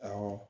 Awɔ